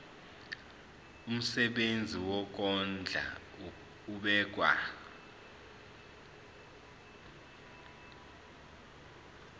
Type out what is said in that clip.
umsebenzi wokondla ubekwa